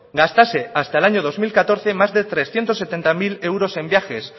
gastase hasta el año dos mil catorce más de trescientos setenta mil euros en viajes